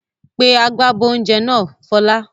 Pe agbábọ́ oúnjẹ náà Fọlá!